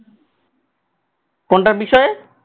কোনটার বিষয়ে?